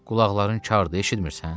Qulaqların kardır, eşitmirsən?